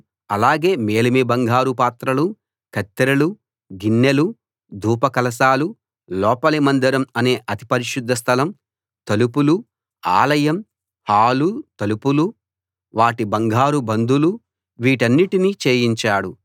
అలాగే మేలిమి బంగారు పాత్రలు కత్తెరలు గిన్నెలు ధూపకలశాలు లోపలి మందిరం అనే అతి పరిశుద్ధ స్థలం తలుపులు ఆలయం హాలు తలుపులు వాటి బంగారు బందులు వీటన్నిటినీ చేయించాడు